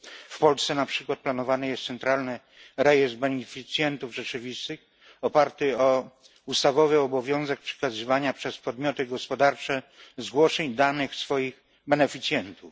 W Polsce, na przykład, planowany jest centralny rejestr beneficjentów rzeczywistych oparty o ustawowy obowiązek przekazywania przez podmioty gospodarcze zgłoszeń danych swoich beneficjentów.